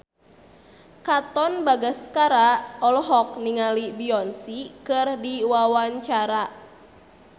Katon Bagaskara olohok ningali Beyonce keur diwawancara